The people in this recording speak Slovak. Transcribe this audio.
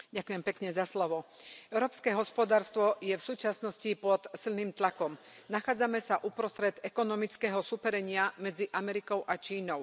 Pane předsedající, európske hospodárstvo je v súčasnosti pod silným tlakom. Nachádzame sa uprostred ekonomického súperenia medzi Amerikou a Čínou.